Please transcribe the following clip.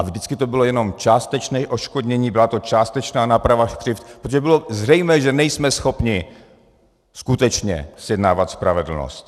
A vždycky to bylo jenom částečné odškodnění, byla to částečná náprava křivd, protože bylo zřejmé, že nejsme schopni skutečně zjednávat spravedlnost.